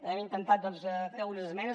hem intentat doncs fer unes esmenes